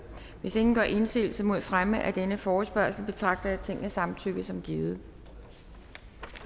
hvis ingen gør indsigelse mod fremme af denne forespørgsel betragter jeg tingets samtykke som givet